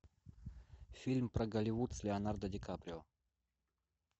фильм про голливуд с леонардо ди каприо